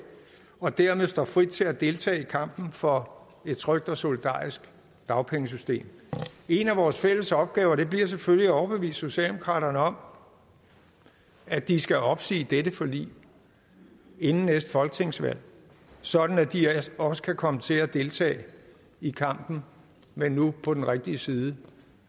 og at man dermed står frit til at deltage i kampen for et trygt og solidarisk dagpengesystem en af vores fælles opgaver bliver selvfølgelig at overbevise socialdemokraterne om at de skal opsige dette forlig inden næste folketingsvalg sådan at de også kan komme til at deltage i kampen men nu på den rigtige side